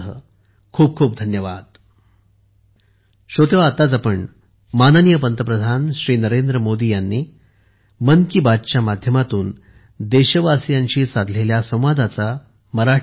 खूप खूप धन्यवाद